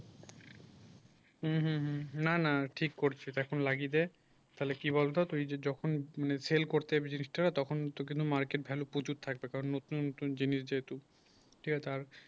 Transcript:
হুম হুম না না ঠিক এখন লাগিয়ে দে তাহলে কি বলতো তুই যে যখন মানে সেল করতে যাবি জিনিসটা তখন তো কিন্তু market ভ্যালু প্রচুর থাকবে কারণ নতুন নতুন জিনিস যেহেতু তুই ও আর